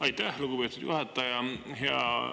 Aitäh, lugupeetud juhataja!